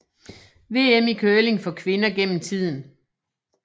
VM i curling for kvinder gennem tiden